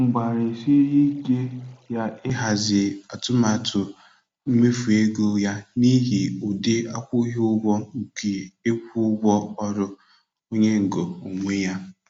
Mgbalịsiri ike ya ịhazi atụmatụ mmefu ego ya n'ihi ụdị akwụghị ụgwọ nke ịkwụ ụgwọ ọrụ onye ngo onwe ya.